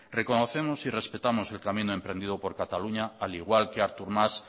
reconocemos y respetamos el camino emprendido por cataluña al igual que artur mas